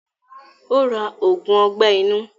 Ó ra ògùn ọgbẹ́ inú.